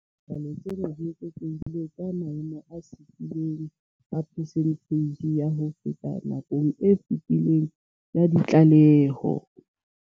Dipalopalo tsena di eketsehile ka 7 ka percentage ya ho feta nakong e fetileng ya ditlaleho.